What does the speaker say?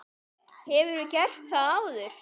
Hefurðu gert það áður?